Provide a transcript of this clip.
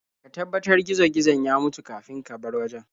Ka tabbatar gizo-gizon ya mutu kafin ka bar wajen.